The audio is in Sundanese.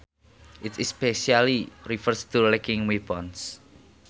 It especially refers to lacking weapons